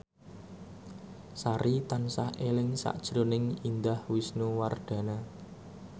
Sari tansah eling sakjroning Indah Wisnuwardana